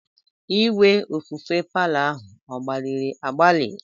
Igwe ofufe palo ahụ ọ gbairi agbai?